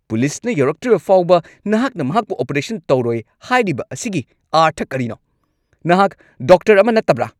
ꯄꯨꯂꯤꯁꯅ ꯌꯧꯔꯛꯇ꯭ꯔꯤꯕ ꯐꯥꯎꯕ ꯅꯍꯥꯛꯅ ꯃꯍꯥꯛꯄꯨ ꯑꯣꯄꯔꯦꯁꯟ ꯇꯧꯔꯣꯏ ꯍꯥꯏꯔꯤꯕ ꯑꯁꯤꯒꯤ ꯑꯥꯔꯊ ꯑꯔꯤꯅꯣ? ꯅꯍꯥꯛ ꯗꯣꯛꯇꯔ ꯑꯃ ꯅꯠꯇꯕ꯭ꯔꯥ?